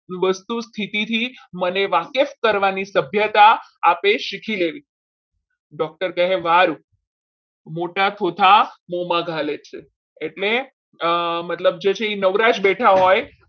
વસ્તુ સ્થિતિથી મને વાકેફ કરવાની સભ્યતા આપે શીખી લેવી doctor કહેવાનું મોટા ચોથા મોંમાં ઘાલે છે એટલે મતલબ જે નવરાશ બેઠા હોય